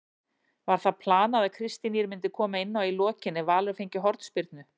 Var það planað að Kristín Ýr myndi koma inná í lokin ef Valur fengi hornspyrnu?